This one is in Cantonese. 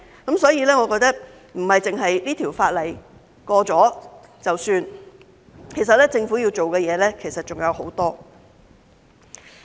因此，我認為不是《條例草案》通過便可以，其實政府要做的工作還有很多。